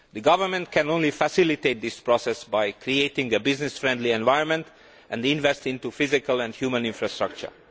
The government can only facilitate this process by creating a business friendly environment and investing in physical and human infrastructure.